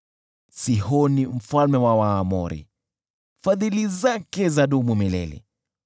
Sihoni mfalme wa Waamori, Fadhili zake zadumu milele .